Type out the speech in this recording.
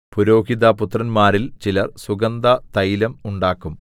പുരോഹിതപുത്രന്മാരിൽ ചിലർ സുഗന്ധതൈലം ഉണ്ടാക്കും